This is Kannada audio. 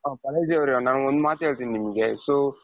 ಹ ಬಾಲಾಜಿ ಅವರೆ ನಾನು ಒಂದ್ ಮಾತ್ ಹೇಳ್ತೀನಿ ನಿಮ್ಗೆ so,